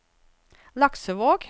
Laksevåg